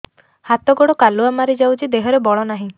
ହାତ ଗୋଡ଼ କାଲୁଆ ମାରି ଯାଉଛି ଦେହରେ ବଳ ନାହିଁ